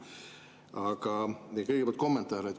Aga kõigepealt kommentaar.